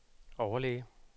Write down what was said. overlæge